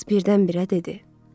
Qız birdən-birə dedi.